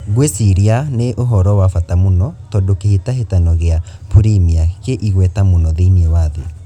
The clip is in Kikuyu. Ngwĩ ciria nĩ uhoro wa bata mũno tondũ kĩ hĩ tahĩ tano gĩ a Purimia kĩ igweta mũno thĩ iniĩ wa thĩ .